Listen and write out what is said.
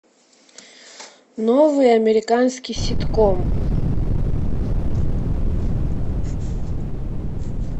новый американский ситком